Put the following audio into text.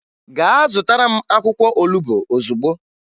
Gaa zụtara m akwụkwọ olubo ozugbo!